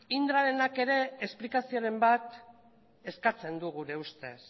indrarenak ere esplikazioren bat eskatzen du gure ustez